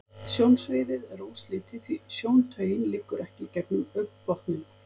Sjónsviðið er óslitið, því sjóntaugin liggur ekki gegnum augnbotninn.